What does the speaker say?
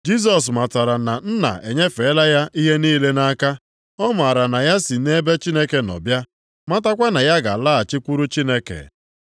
Jisọs matara na Nna enyefeela ya ihe niile nʼaka. Ọ maara na ya si nʼebe Chineke nọ bịa, matakwa na ya ga-alaghachikwuru Chineke.